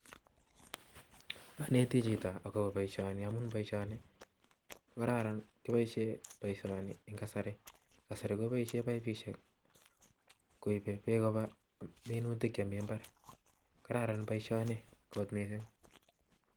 Anetii Chito koip Beek lipainutik chemi. mbar kasari kopaishe baisheek koibe peeek. kopa. mbar kararan boishonii mising